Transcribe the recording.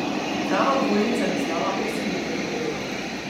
Prava obvoznica bi stala osem milijonov evrov.